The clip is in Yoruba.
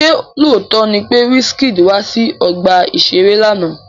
Ṣé lóòótọ́ ni pé Wizkid wá sí ọgbà-ìṣeré lánàá?